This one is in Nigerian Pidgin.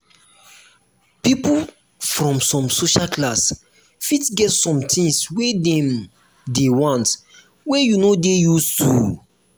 people from some social class fit get some things wey dem dey want wey you no dey used too